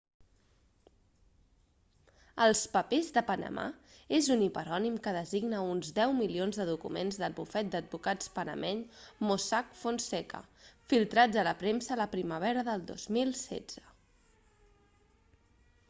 els papers de panamà és un hiperònim que designa uns deu milions de documents del bufet d'advocats panameny mossack fonseca filtrats a la premsa a la primavera del 2016